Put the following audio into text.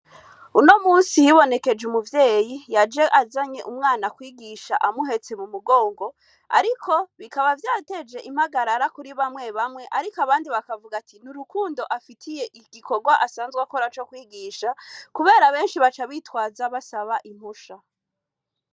Uno munsi hibonekeje umuvyeyi yaje azanye umwana kwigisha amuhetse mu mugongo ariko bikaba vyateje impagarara kuri bamwe bamwe ariko abandi bakavuga ati n'urukundo afitiye igikorwa asanzwe akora co kwigisha kubera abenshi baca bitwaza basaba impusha.